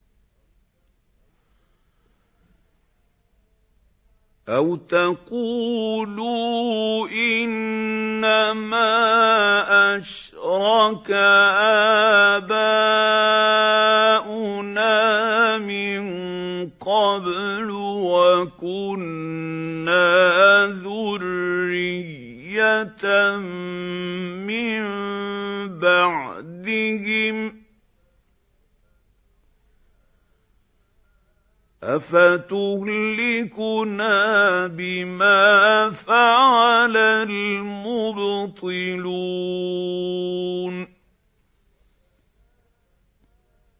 أَوْ تَقُولُوا إِنَّمَا أَشْرَكَ آبَاؤُنَا مِن قَبْلُ وَكُنَّا ذُرِّيَّةً مِّن بَعْدِهِمْ ۖ أَفَتُهْلِكُنَا بِمَا فَعَلَ الْمُبْطِلُونَ